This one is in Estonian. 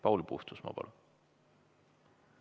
Paul Puustusmaa, palun!